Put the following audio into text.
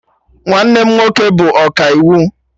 Nwanne m nwoke bụ ọkaiwu